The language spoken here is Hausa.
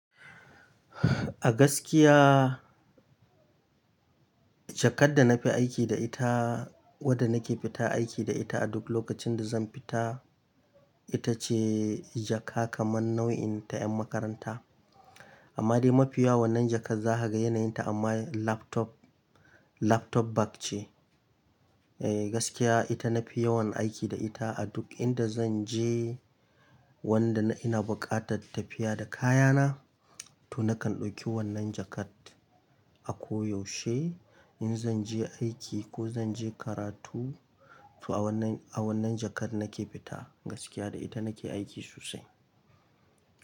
A gaskiya jakar da na fi aiki da ita, wadda nake fita aiki da ita a duk lokacin da zan fita, ita ce jaka kamar nau'in ta 'yan makaranta. Amma dai mafi yawan wannan jakar za ka ga yanayinta amma laptop, laptop bag ce. Eh gaskiya ita na fi yawan aiki da ita a duk inda zan je wanda ina buƙatar tafiya da kayana to nakan ɗauki wannan jakat. A koyaushe in zan je aiki ko zan je karatu to a wannan, a wannan jakar nake fita. Gaskiya da ita nake aiki sosai.